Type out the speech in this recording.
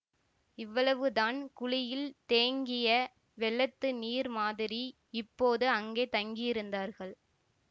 இவ்வளவுதான் குழியில் தேங்கிய வெள்ளத்து நீர் மாதிரி இப்போது அங்கே தங்கியிருந்தார்கள்